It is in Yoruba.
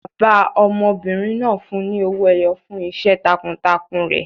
Bàbá ọmọbìnrin náà fún un ní owó ẹyọ fún iṣẹ́ takuntakun rẹ̀.